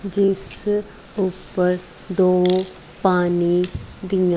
ਜਿਸ ਉਪਰ ਦੋ ਪਾਣੀ ਦੀਆਂ।